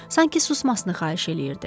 Sanki susmasını xahiş eləyirdi.